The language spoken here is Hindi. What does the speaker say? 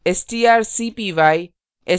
strcpy